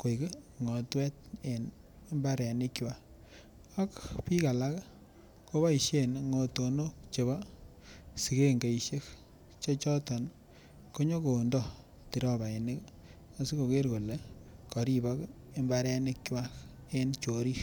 koik ngotwet en mbaronikwak ak biik alak koboishen ngotonok chebo sikengeishek chechoton konyokondo tirobainik aikoker kolee koribok imbaronikwak en chorik.